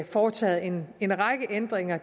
foretaget en en række ændringer